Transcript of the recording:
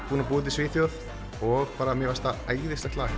búinn að búa úti í Svíþjóð og mér finnst það æðislegt lag